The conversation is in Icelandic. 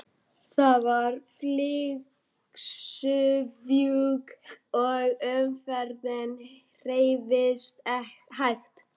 Það var flygsufjúk og umferðin hreyfðist hægt.